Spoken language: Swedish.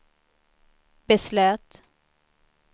beslöt